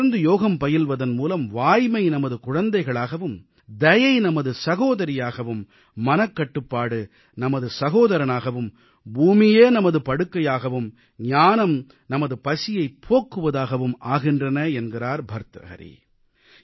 தொடர்ந்து யோகம் பயில்வதன் மூலம் வாய்மை நமது குழந்தைகளாகவும் தயை நமது சகோதரியாகவும் மனக்கட்டுப்பாடு நமது சகோதரனாகவும் பூமியே நமது படுக்கையாகவும் ஞானம் நமது பசியைப் போக்குவதாகவும் ஆகின்றன என்கிறார் பர்த்ருஹரி